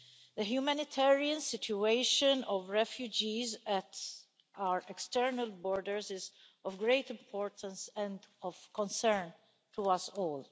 The humanitarian situation of refugees at our external borders is of great importance and of concern to us all.